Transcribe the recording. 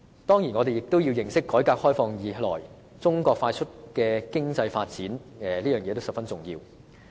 當然，我們也要認識改革開放以來，中國快速的經濟發展，這是十分重要的。